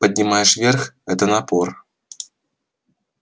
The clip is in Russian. поднимаешь вверх это напор